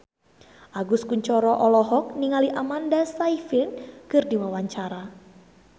Agus Kuncoro olohok ningali Amanda Sayfried keur diwawancara